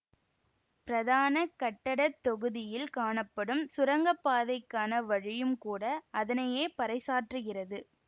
பிரதான கட்டட தொகுதியில் காணப்படும் சுரங்கப்பாதைக்கான வழியும் கூட அதனையே பறைசாற்றுகிறது